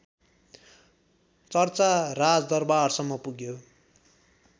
चर्चा राजदरबारसम्म पुग्यो